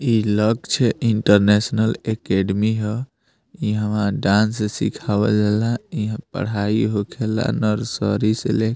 इ Lakshya international academy हअ इ हमरा डांस सिखावला इहा पढाई होखेला नर्सरी से ले --